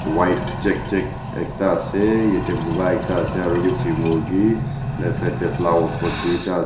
white check check ekta ase yete buka ekta ase arobi chi murki left side de flower pot tuita ase.